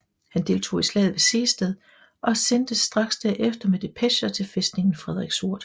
Han deltog i slaget ved Sehested og sendtes straks derefter med depecher til fæstningen Frederiksort